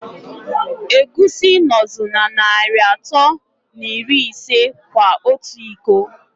Egwusi nọzi na Nari atọ na iri ise kwa ọtụ ịkọ.